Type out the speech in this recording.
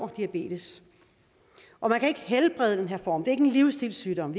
diabetes og man kan ikke helbrede den her form det er ikke en livsstilssygdom